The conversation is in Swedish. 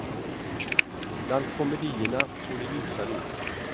Bland komedierna såg det ljusare ut.